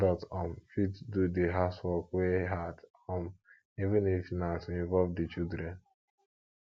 adult um fit do di housework wey hard um even if na to involve di children